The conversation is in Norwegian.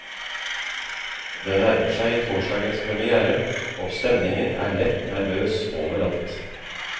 Det nærmer seg torsdagens premiére, og stemningen er lett nervøs overalt.